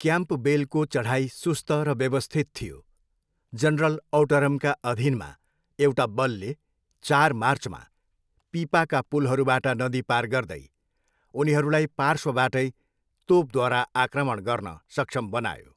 क्याम्पबेलको चढाइ सुस्त र व्यवस्थित थियो, जनरल औटरमका अधीनमा एउटा बलले चार मार्चमा पिपाका पुलहरूबाट नदी पार गर्दै उनीहरूलाई पार्श्वबाटै तोपद्वारा आक्रमण गर्न सक्षम बनायो।